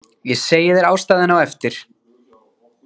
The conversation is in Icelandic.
Ég segi þér ástæðuna á eftir